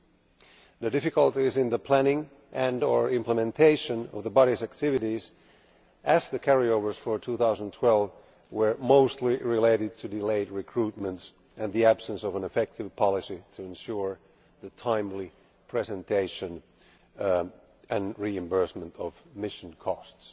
and difficulties in the planning and or implementation of the body's activities, as the carryovers for 2012 were mostly related to delayed recruitment and the absence of an effective policy to ensure the timely presentation and reimbursement of mission costs.